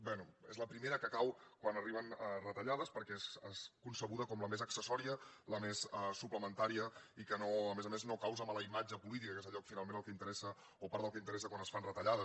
bé és la primera que cau quan arriben retallades perquè és concebuda com la més accessòria la més suplementària i que a més a més no causa mala imatge política que és allò que finalment és el que interessa o part del que interessa quan es fan retallades